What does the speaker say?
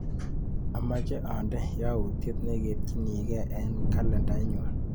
Amache ande yautyet neketchinike eng kalendainyu.